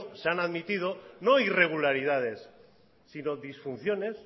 se han admitido no irregularidades sino disfunciones